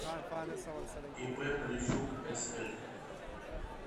ип полищук сф